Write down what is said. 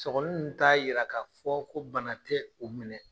Sɔgɔli ninnu t'a yira k'a fɔ ko bana tɛ u minɛ.